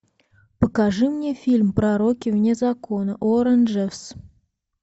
покажи мне фильм пророки вне закона уоррен джеффс